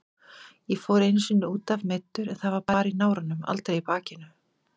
Ég fór einu sinni útaf meiddur en það var bara í náranum, aldrei í bakinu.